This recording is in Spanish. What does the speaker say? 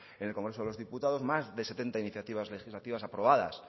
en el congresos de los diputados más de setenta iniciativas legislativas aprobadas